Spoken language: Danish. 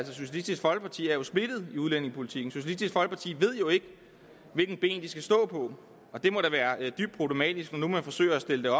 socialistisk folkeparti er jo splittet i udlændingepolitikken socialistisk folkeparti ved jo ikke hvilket ben de skal stå på og det må da være dybt problematisk når man forsøger at stille det